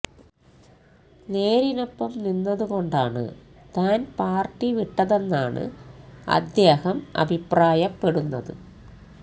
നേരിനൊപ്പം നിന്നതു കൊണ്ടാണ് താന് പാര്ട്ടി വിട്ടതെന്നാണ് അദ്ദേഹം അഭിപ്രായപ്പെടുന്നത്